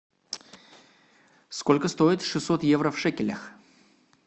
сколько стоит шестьсот евро в шекелях